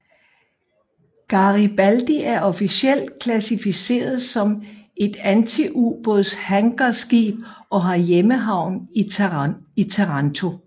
Garibaldi er officielt klassificeret som et antiubådshangarskib og har hjemmehavn i Taranto